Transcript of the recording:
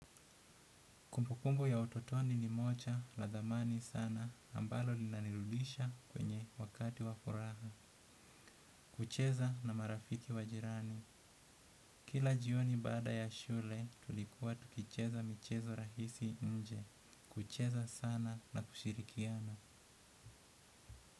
Kumpukumbu ya utotoni ni mocha la dhamani sana ambalo linanirudisha kwenye wakati wafuraha. Kucheza na marafiki wajirani. Kila jioni baada ya shule tulikuwa tukicheza michezo rahisi nje. Kucheza sana na kushirikiana.